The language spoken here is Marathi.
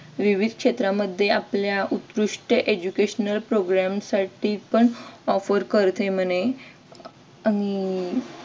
विविध क्षेत्रांमध्ये आपल्या उत्कृष्ट educational program साठी पण offer करते म्हणे आणि